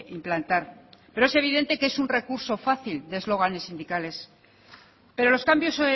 implantar pero es evidente que es un recurso fácil de eslóganes sindicales pero los cambios